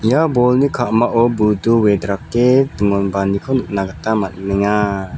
ia bolni ka·mao budu wedrake dingonbaaniko nikna gita man·enga.